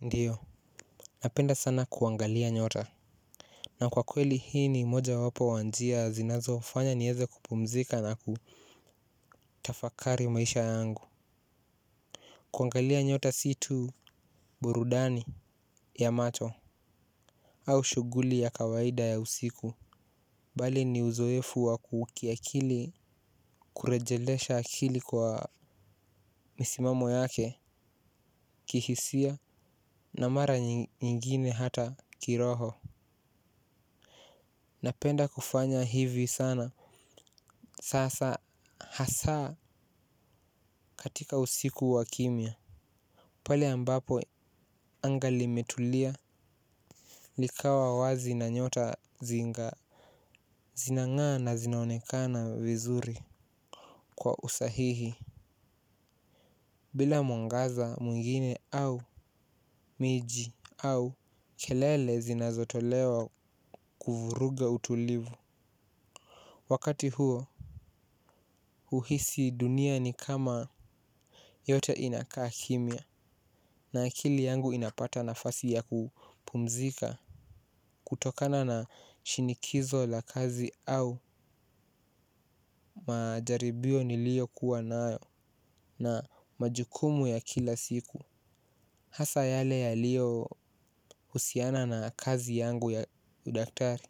Ndiyo napenda sana kuangalia nyota na kwa kweli hii ni moja wapo wanjia zinazo fanya nieze kupumzika na kutafakari maisha yangu kuangalia nyota si tu burudani ya macho au shuguli ya kawaida ya usiku bali ni uzoefu wa kukiakili kurejelesha akili kwa misimamo yake kihisia na mara nyingine hata kiroho. Napenda kufanya hivi sana. Sasa hasaa katika usiku wa kimia. Pale ambapo angali metulia likawa wazi na nyota zingaa. Zinangaa na zinaonekana vizuri kwa usahihi. Bila mwangaza mwingine au miji au kelele zinazotolewa kuvuruga utulivu. Wakati huo uhisi dunia ni kama yote inakaa kimia na akili yangu inapata nafasi ya kupumzika kutokana na shinikizo la kazi au majaribio niliokuwa nayo na majukumu ya kila siku. Hasa yale yalio husiana na kazi yangu ya udaktari.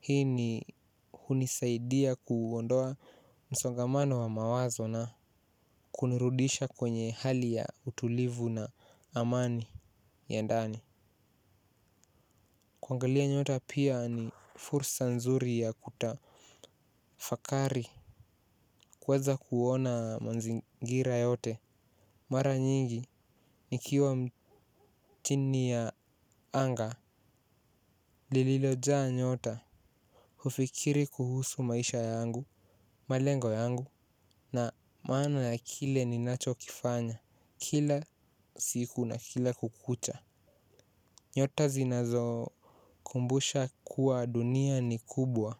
Hii ni hunisaidia kuondoa msongamano wa mawazo na kunirudisha kwenye hali ya utulivu na amani ya ndani. Kuangalia nyota pia ni fursa nzuri ya kutafakari. Kuweza kuona manzingira yote mara nyingi ni kiwa mchini ya anga. Lililoja nyota. Hufikiri kuhusu maisha yangu malengo yangu na maana ya kile ninachokifanya kila siku na kila kukucha. Nyota zinazo kumbusha kuwa dunia ni kubwa.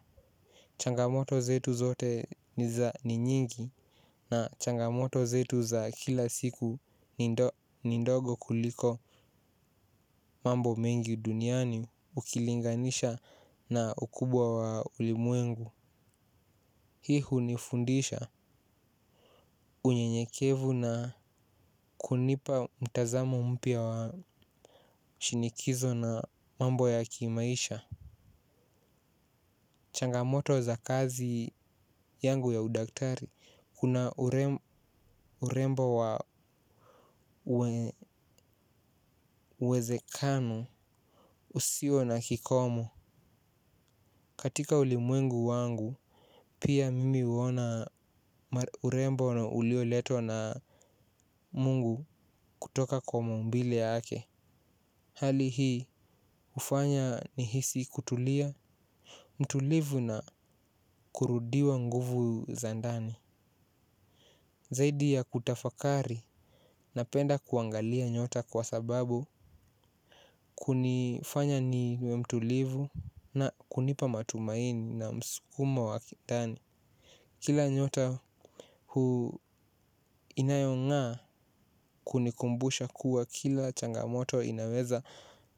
Changamoto zetu zote niza ni nyingi na changamoto zetu za kila siku ni ndogo kuliko mambo mengi duniani ukilinganisha na ukubwa wa ulimwengu. Hihu nifundisha unyenyekevu na kunipa mtazamo mpia wa shinikizo na mambo ya kimaisha. Changamoto za kazi yangu ya udaktari, kuna urembo wa uwezekano usio na kikomu. Katika ulimwengu wangu, pia mimi uona urembo na ulio leto na mungu kutoka kwa mumbile ake. Hali hii ufanya ni hisi kutulia, mtulivu na kurudiwa nguvu zandani. Zaidi ya kutafakari na penda kuangalia nyota kwa sababu kunifanya niwe mtulivu na kunipa matumaini na msukumo wa kidani. Kila nyota huu inayonga kunikumbusha kuwa kila changamoto inaweza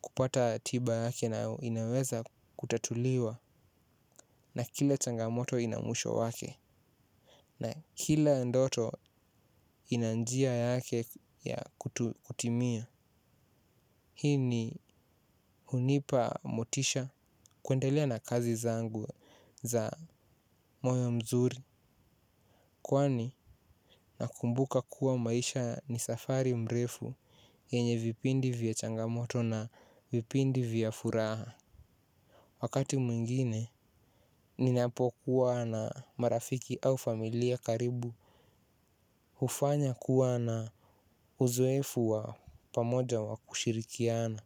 kupata tiba yake na inaweza kutatuliwa na kila changamoto inamuisho wake na kila ndoto inanjia yake ya kutimia. Hii ni unipa motisha kuendelea na kazi zangu za moyo mzuri kwani nakumbuka kuwa maisha ni safari mrefu yenye vipindi vya changamoto na vipindi vya furaha. Wakati mwingine ninapokuwa na marafiki au familia karibu hufanya kuwa na uzoefu wa pamoja wa kushirikiana.